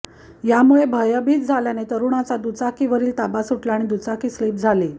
यामुळे भयभीत झाल्याने तरुणाचा दुचाकीवरील ताबा सुटला आणि दुचाकी स्लिप झाली